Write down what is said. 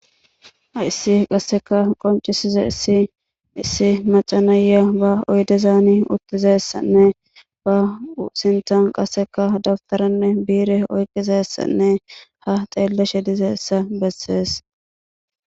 Hayisi qasekka qoncisizayis issi maca naiya ba oyidezan utizayisanne ba sinththani qasekka dabiteranne bire oyikidayisanne ha xeelashe dizayisa besees